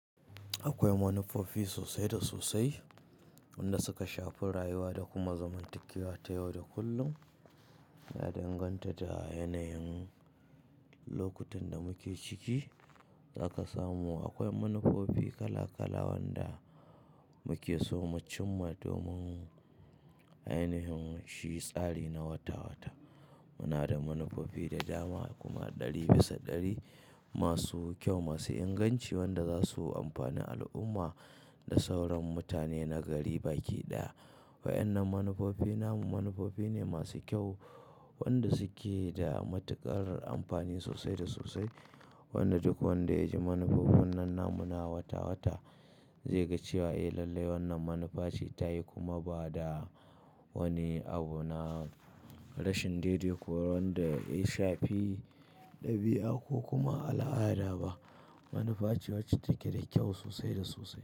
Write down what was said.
Akwai manufofi sosai da sosai wanda suka shafi rayuwa da kuma zamantakewa ta yau da kullum, ya danganta da yanayin lokutan da muke ciki zaka samu. Akwai manufofi kala kala wanda muke so mu cimma domin ainihin shi tsari na wata wata. Muna da manufofi da dama kuma ɗari bisa ɗari masu kyau masu inganci wanda za su amfani al'umma da sauran mutane na gari baki ɗaya. Waɗannan manufofi namun manufofi ne masu kyau wanda suke da matuƙar amfani sosai da sosai. Wanda duk wanda ya ji manufofin nan namu na wata wata zai ga cewa eh lallai wannan manufa ce ta yi kuma ba da wani abu na rashin daidaito wanda ya shafi ɗabi'a ko kuma al'ada ba. Manufa ce wacce take da kyau sosai da sosai.